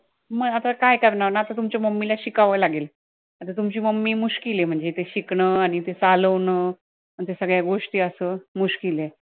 म आता काय करणार, आता तुमच्या mummy ला शिकावं लागेल, आता तुमची mummy आहे म्हणजे ते शिकणं आणि ते चालवणं या सगळ्या गोष्टी असं आहे